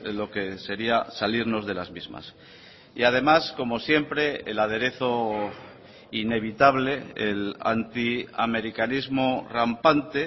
lo que sería salirnos de las mismas y además como siempre el aderezo inevitable el antiamericanismo rampante